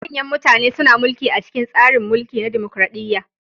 Manyan mutane suna mulki a cikin tsarin mulki na dimukraɗiya.